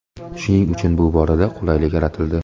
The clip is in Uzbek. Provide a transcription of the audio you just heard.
Shuning uchun bu borada qulaylik yaratildi.